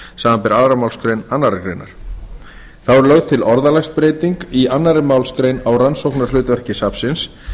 samanber aðra málsgrein annarrar greinar þá er lögð til orðalagsbreyting í annarri málsgrein á rannsóknarhlutverki safnsins